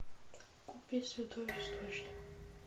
купи святой источник